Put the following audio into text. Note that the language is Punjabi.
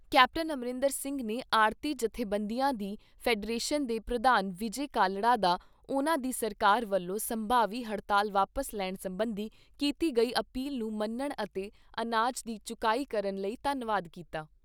ਕੈਪਟਨ ਅਮਰਿੰਦਰ ਸਿੰਘ ਨੇ ਆੜਤੀ ਜਥੇਬੰਦੀਆਂ ਦੀ ਫੈਡਰੇਸ਼ਨ ਦੇ ਪ੍ਰਧਾਨ ਵਿਜੈ ਕਾਲੜਾ ਦਾ ਉਨ੍ਹਾਂ ਦੀ ਸਰਕਾਰ ਵੱਲੋਂ ਸੰਭਾਵੀ ਹੜਤਾਲ ਵਾਪਸ ਲੈਣ ਸਬੰਧੀ ਕੀਤੀ ਗਈ ਅਪੀਲ ਨੂੰ ਮੰਨਣ ਅਤੇ ਅਨਾਜ ਦੀ ਚੁਕਾਈ ਕਰਨ ਲਈ ਧੰਨਵਾਦ ਕੀਤਾ।